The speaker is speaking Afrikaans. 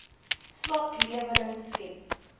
swak lewering skep